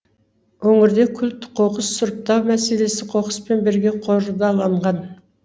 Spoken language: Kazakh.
өңірде күл қоқыс сұрыптау мәселесі қоқыспен бірге қордаланған